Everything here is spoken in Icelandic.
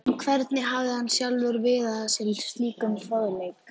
En hvernig hafði hann sjálfur viðað að sér slíkum fróðleik?